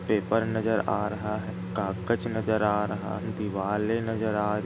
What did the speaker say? Paper नजर आ रहा है कागज नजर आ रहा है। दिवरे नजर आ--